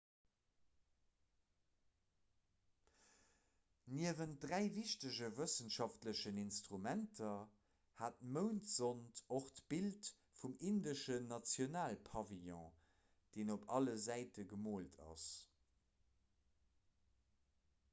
niewent dräi wichtege wëssenschaftlechen instrumenter hat d'moundsond och d'bild vum indeschen nationalpavillon deen op alle säite gemoolt ass